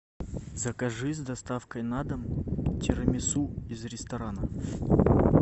закажи с доставкой на дом тирамису из ресторана